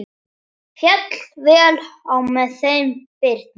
Féll vel á með þeim Birni.